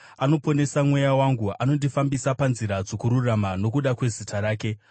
anoponesa mweya wangu. Anondifambisa panzira dzokururama nokuda kwezita rake.